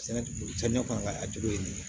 Sɛnɛ ti bɔ samiya kɔnɔ ka a juru ye nin ye